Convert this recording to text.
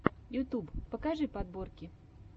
ютуб покажи подборки